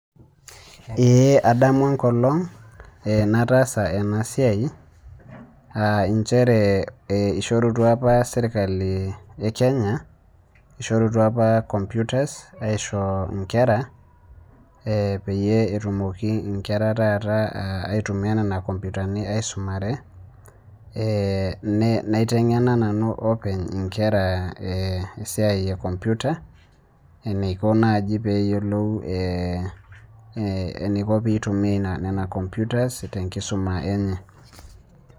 ee adamu enkolong nataasa ena siai, aa nchere eishorutua apa sirkali e kenya, shorutua apa computer aisho nkera.ee epeyie etumoki nkera taata aitumia nena komputani aisumare, naiteng'ena nanu openy, inkera, esiai e computer eniko naaji pee eyiolou eniko pee itumia nena computers te nkisuma enye.